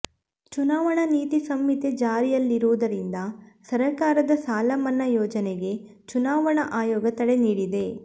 ಚುನಾವಣಾ ನೀತಿ ಸಂಹಿತೆ ಜಾರಿಯಲ್ಲಿರುವುದರಿಂದ ಸರಕಾರದ ಸಾಲ ಮನ್ನಾ ಯೋಜನೆಗೆ ಚುನಾವಣಾ ಆಯೋಗ ತಡೆ ನೀಡಿದೆ